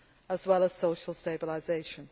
as well as social stabilisation.